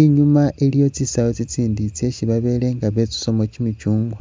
inyuma iliwo tsisawu tsitsindi tsesi babele nga betsusamo kyimichungwa